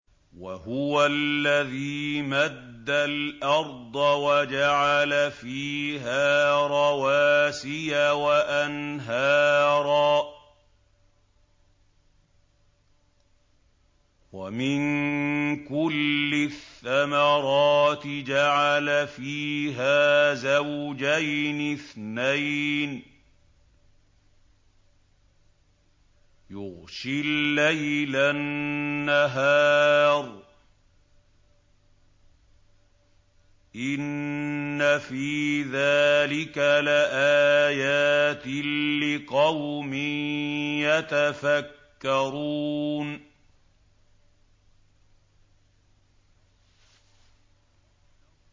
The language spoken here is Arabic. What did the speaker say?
وَهُوَ الَّذِي مَدَّ الْأَرْضَ وَجَعَلَ فِيهَا رَوَاسِيَ وَأَنْهَارًا ۖ وَمِن كُلِّ الثَّمَرَاتِ جَعَلَ فِيهَا زَوْجَيْنِ اثْنَيْنِ ۖ يُغْشِي اللَّيْلَ النَّهَارَ ۚ إِنَّ فِي ذَٰلِكَ لَآيَاتٍ لِّقَوْمٍ يَتَفَكَّرُونَ